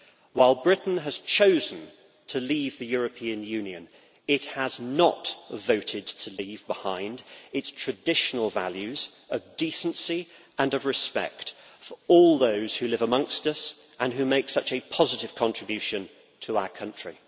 While Britain has chosen to leave the European Union, it has not voted to leave behind its traditional values of decency and of respect for all those who live amongst us and who make such a positive contribution to our country.